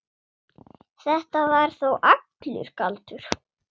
Þetta var þá allur galdur.